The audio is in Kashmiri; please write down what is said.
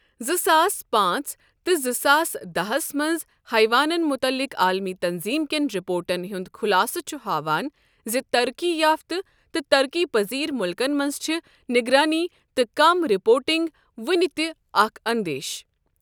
زٕ ساس پانٛژ تہٕ زٕ ساس داہس منز حیوانن متعلق عالمی تنظیم کین رِپورٹن ہُند خُلاصہٕ چُھ ہاوان زِ ترقی یافتہٕ تہٕ ترقی پذیر مُلکن منز چِھ نگرٲنی تہٕ کم رپورٹنگ ؤنِہ تِہ اکھ اندیشہٕ ۔